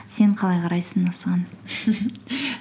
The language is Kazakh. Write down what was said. сен қалай қарайсың осыған